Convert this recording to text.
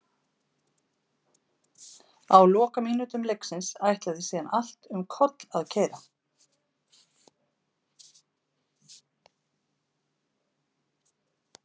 Á lokamínútum leiksins ætlaði síðan allt um koll að keyra.